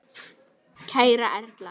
Kæra Erla.